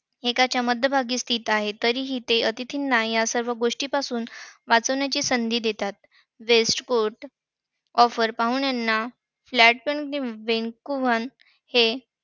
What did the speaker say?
एकाच्या मध्यभागी स्थित आहे. तरीही अतिथींना ते या सर्व गोष्टींपासून वाचण्याची संधी देतात. पाहुण्यांना